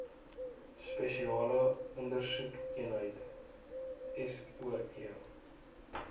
spesiale ondersoekeenheid soe